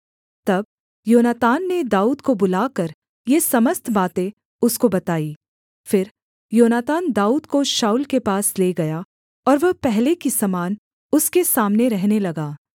तब योनातान ने दाऊद को बुलाकर ये समस्त बातें उसको बताईं फिर योनातान दाऊद को शाऊल के पास ले गया और वह पहले की समान उसके सामने रहने लगा